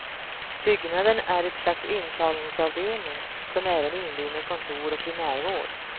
Byggnaden är ett slags intagningsavdelning, som även inrymmer kontor och primärvård.